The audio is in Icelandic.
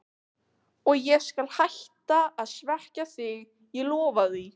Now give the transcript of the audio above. Og ég skal hætta að svekkja þig, ég lofa því.